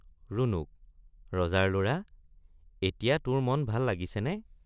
ৰুণুক—ৰজাৰ লৰা এতিয়া তোৰ মন ভাল লাগিছেনে?